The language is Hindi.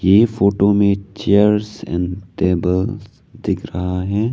ये फोटो में चेयर्स एंड टेबल्स दिख रहा है।